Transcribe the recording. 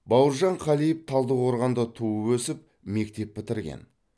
бауыржан қалиев талдықорғанда туып өсіп мектеп бітірген